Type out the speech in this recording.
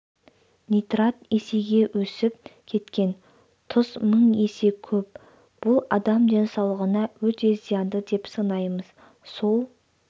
нитрад есеге өсіп кеткен тұз мың есе көп бұл адам денсаулығына өте зиянды деп санаймыз сол